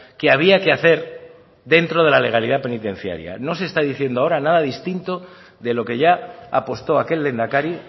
que había que hacer dentro de la legalidad penitenciaria no se está diciendo ahora nada distinto de lo que ya apostó aquel lehendakari